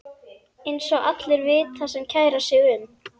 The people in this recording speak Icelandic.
Eins og allir vita sem kæra sig um.